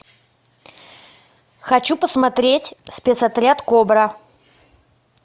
хочу посмотреть спецотряд кобра